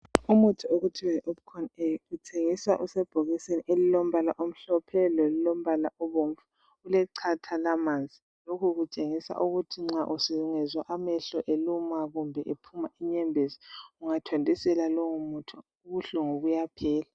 Umuthi okuthiwa yiOpcon A uthengiswa usebhokisini elimhlophe nke ,ngowamehlo umuntu kuyafuze awuthathe awuthele phezu kwamehoo engezwa eseluma.